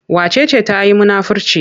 Wace ce ta yi munafirci?